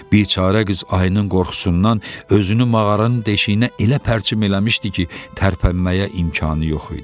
Biçarə qız ayının qorxusundan özünü mağaranın deşiyinə elə pərçim eləmişdi ki, tərpənməyə imkanı yox idi.